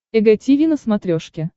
эг тиви на смотрешке